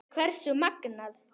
Hversu magnað!